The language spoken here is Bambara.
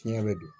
Fiɲɛ bɛ don